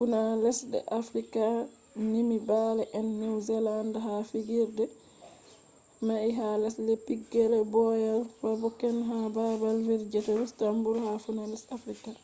funa lesde africa nymi bale`ennew zealand ha figirde mai ha lesde pigileroyal bafokeng ha babal vigirderustenburgha funa lesde africa